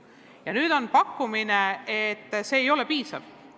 Ja nüüd arvatakse, et see ei ole piisav.